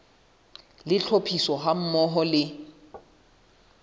le tlhophiso ha mmoho le